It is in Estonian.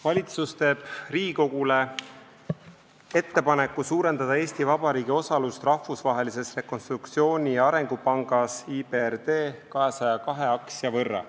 Valitsus teeb Riigikogule ettepaneku suurendada Eesti Vabariigi osalust Rahvusvahelises Rekonstruktsiooni- ja Arengupangas 202 aktsia võrra.